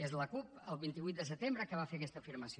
és la cup el vint vuit de setembre que fa fer aquesta afirmació